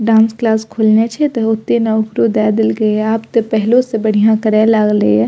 Dance class खोलने छै ते ओते ने ओकरो देए देलके ये आब ते पहलो से बढ़िया करे लागले ये।